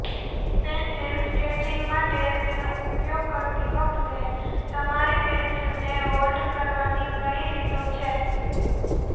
pencil sketching માટે તેનો ઉપયોગ કરતી વખતે તમારી પેંસિલને હોલ્ડ કરવાની ઘણી રીતો છે